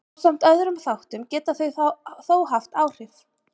Ásamt öðrum þáttum geta þau þó haft áhrif.